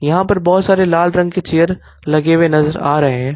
यहां पर बहोत सारे लाल रंग के चेयर लगे हुए नजर आ रहे हैं।